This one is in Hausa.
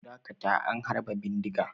Ku dakata an harba bindiga!